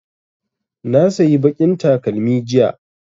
Na sayi baƙin takalmi jiya